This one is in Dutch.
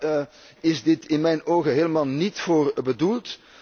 Daar is dit in mijn ogen helemaal niet voor bedoeld.